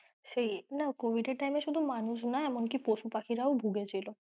সেই না covid এর time এ শুধু মানুষ না পশু পাখিরাও ভুগেছিল।